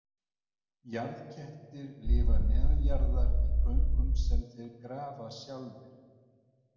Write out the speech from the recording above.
Jarðkettir lifa neðanjarðar í göngum sem þeir grafa sjálfir.